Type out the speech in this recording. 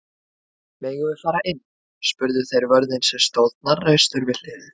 Megum við fara inn? spurðu þeir vörðinn sem stóð hnarreistur við hliðið.